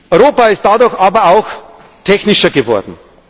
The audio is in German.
Europa ist dadurch aber auch technischer geworden.